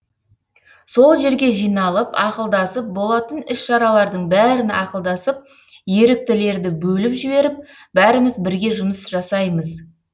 сол жерге жиналып ақылдасып болатын іс шаралардың бәрін ақылдасып еріктілерді бөліп жіберіп бәріміз бірге жұмыс жасаймыз